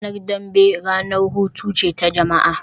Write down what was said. Ranar dambe ranar hutu ce ta jama'a